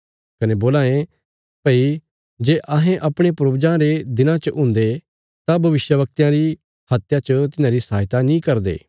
कने बोलां ये भई जे अहें अपणे पूर्वजां रे दिनां च हुन्दे तां भविष्यवक्तयां री हत्या च तिन्हांरी सहायता नीं करदे